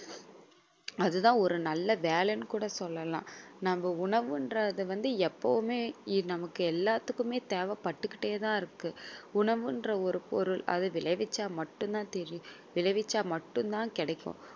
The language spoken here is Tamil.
அதுதான் ஒரு நல்ல வேலைன்னு கூட சொல்லலாம். நம்ம உணவுன்றது வந்து எப்பவுமே நமக்கு எல்லாத்துக்குமே தேவை பட்டுக்கிட்டே தான் இருக்கு உணவுன்ற ஒரு பொருள் அது விளைவிச்சா மட்டும் தான் தெரியும் விளைவிச்சா மட்டும் தான் கிடைக்கும்.